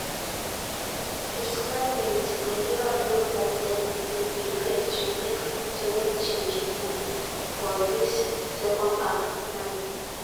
59 mins nigeria look like dem dey prepare to make to make change um for dis secondhalf um